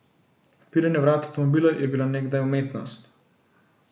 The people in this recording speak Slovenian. Odpiranje vrat avtomobila je bila nekdaj umetnost.